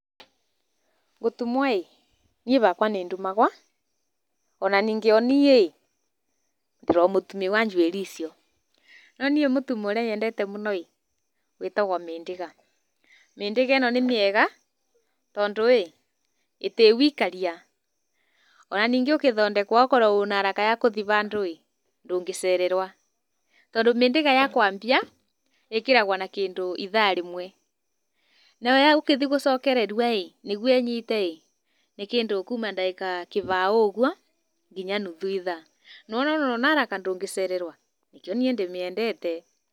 Gũtumwo-ĩ, niĩ bakwa nĩndumagwa, ona ningĩ o niĩ-ĩ, ndĩrĩ o mũtumi wa njuĩri icio. No niĩ mũtumo ũrĩa nyendete mũno-ĩ, wĩtagwo mĩndĩga. Mĩndĩga ĩno nĩ mĩega tondũ-ĩ ĩtĩrĩ wikaria. Ona ningĩ ũkĩthondekwo okorwo wĩna haraka ya kũthiĩ bandũ-ĩ, ndũngĩcererwa, tondũ mĩndĩga ya kwambia, ĩkĩragwa na kĩndũ ithaa rĩmwe, nayo ya gũkĩthiĩ gũcokererua-ĩ, nĩguo ĩnyite-ĩ, nĩ kĩndũ kuma ndagĩka kĩbao ũguo kinya nuthu ithaa. Nĩwona ona wĩna haraka ndũngĩcererwa, nĩkĩo niĩ ndĩmĩendete.